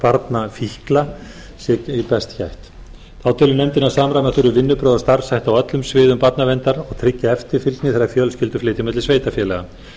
barna fíkla sé best gætt þá telur nefndin að samræma þurfi vinnubrögð og starfshætti á öllum sviðum barnaverndar og tryggja eftirfylgni þegar fjölskyldur flytja á milli sveitarfélaga